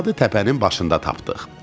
Poladı təpənin başında tapdıq.